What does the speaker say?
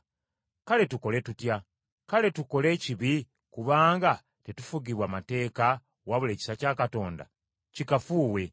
Kale tukole tutya? Kale tukole ekibi kubanga tetufugibwa mateeka wabula ekisa kya Katonda? Kikafuuwe.